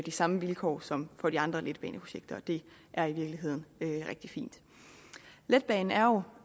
samme vilkår som for de andre letbaneprojekter og det er i virkeligheden rigtig fint letbanen er jo